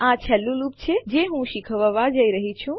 આ છેલ્લું લૂપ છે જે હું શીખવવા જઈ રહી છું